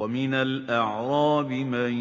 وَمِنَ الْأَعْرَابِ مَن